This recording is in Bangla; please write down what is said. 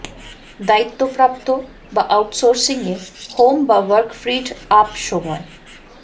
দায়িত্বপ্রাপ্ত বা আউটসোর্সিং এ হোম বা ওয়ার্ক ফ্রীড আপ সময়